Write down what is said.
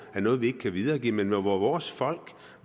noget vi ikke kan videregive men hvor vores folk